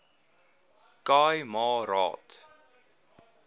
khai ma raad